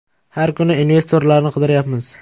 Har kuni investorlarni qidiryapmiz.